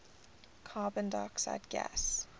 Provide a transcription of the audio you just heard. carbon dioxide gas